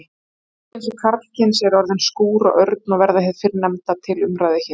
Kvenkyns og karlkyns eru orðin skúr og örn og verður hið fyrrnefnda til umræðu hér.